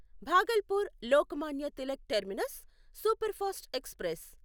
Bhagalpur Lokmanya Tilak terminus superfast express